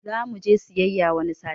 Zamuje siyayya wani sati